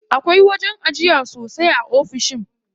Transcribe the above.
Akwai wajen ajiya sosai a ofishin.